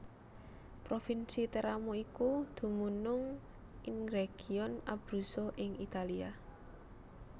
Provinsi Teramo iku dumunung ingregion Abruzzo ing Italia